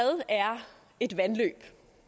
en det